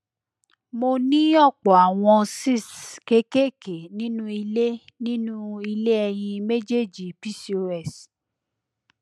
mo ní ọpọ àwọn cysts kéékèèké nínú ilé nínú ilé ẹyin méjèèjì pcos